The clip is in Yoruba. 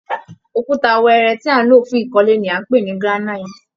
Òkúta wẹẹrẹ tí à ń lò fún ìkọ́lé ni à ń pè ní granite